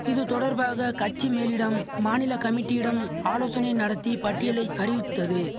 இது தொடர்பாக கட்சி மேலிடம் மாநில கமிட்டியிடம் ஆலோசனை நடத்தி பட்டியலை அறிவித்தது